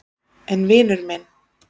En vinur minn.